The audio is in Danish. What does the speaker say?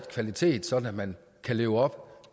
kvalitet sådan at man kan leve op